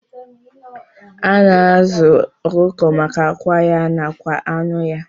Ana azu okụkọ maka akwa ya nakwa anụ ya.